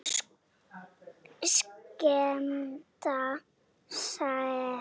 Skemmta sér.